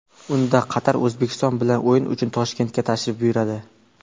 Unda Qatar O‘zbekiston bilan o‘yin uchun Toshkentga tashrif buyuradi.